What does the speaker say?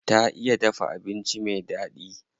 Ta iya dafa abinci me daɗi.